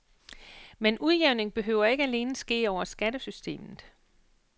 Men udjævning behøver ikke alene ske over skattesystemet.